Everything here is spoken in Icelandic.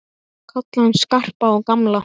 Kalla hann Skarpa og gamla!